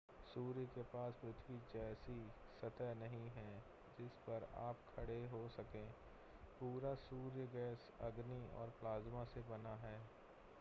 सूर्य के पास पृथ्वी जैसी सतह नहीं है जिस पर आप खड़े हो सकें पूरा सूर्य गैस अग्नि और प्लाज़्मा से बना है